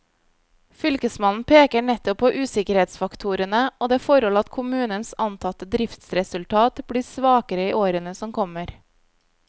Fylkesmannen peker nettopp på usikkerhetsfaktorene og det forhold at kommunens antatte driftsresultat blir svakere i årene som kommer.